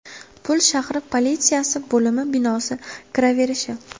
Pul shahri politsiyasi bo‘limi binosi kiraverishi.